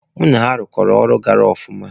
Mụ na ha ịrụkọ ọrụ gara ọfụma.